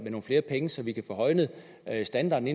nogle flere penge så vi kan få højnet standarden